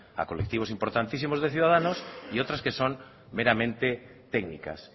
a colectivos importantísimos de ciudadanos y otras que son meramente técnicas